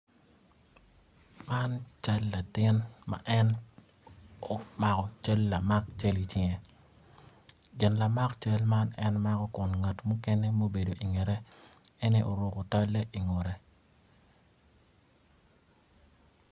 Man cal latin ma en omako cal lamak cal icinge gin lamak cal man en mako kun ngat mukene maobedo ingette en aye oruko tolle ingutte.